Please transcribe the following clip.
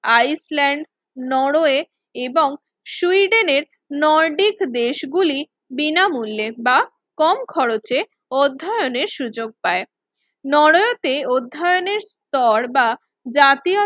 Iceland, Norway এবং সুইডেনের Nordic দেশগুলি বিনামূল্যের বা কম খরচে অধ্যয়নের সুযোগ দেয়। নরওয়েতে অধ্যয়নের স্তর বা জাতীয়